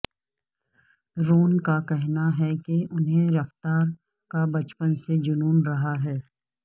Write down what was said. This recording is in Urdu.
رون کا کہنا ہے کہ انھیں رفتار کا بچپن سے جنون رہا ہے